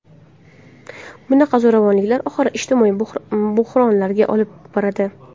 Bunaqa zo‘ravonliklar oxiri ijtimoiy bo‘hronlarga olib boradi.